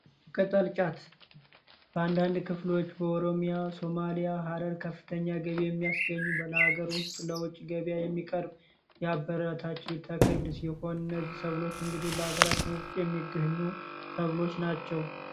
ቀጠልጫት በአንዳንድ ክፍሎዎች በኦሮሚያ ሶማሊያ ሀረር ከፍተኛ ገቢ የሚያስገኝ በለሀገር ውስጥ ለውጭ ገቢያ የሚቀርብ ያበረታችው ተክል ሲሆን እነዚህ ሰብሎች እንግዲህ በሀገራችን ውስጥ የሚገኙ ሰብሎች ናቸው፡፡